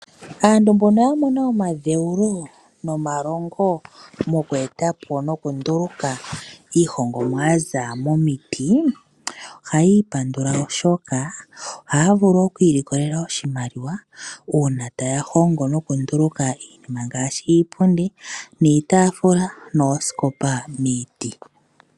Aantu mbono ya mona omadheulo nomalongo moku etapo nokunduluka iihongomwa yaza momiti, ohaya ipandula oshoka, ohaya vulu oku ilikolela oshimaliwa uuna taya hongo noku nduluka iinima ngaashi iipundi, iitaafula noosikopa miiti.